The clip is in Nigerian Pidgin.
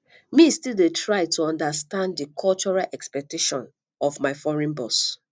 me still dey try to understand di cultural expectations of my foreign boss